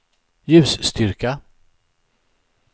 ljusstyrka